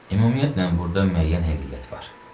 Ümumiyyətlə, burda müəyyən həqiqət var.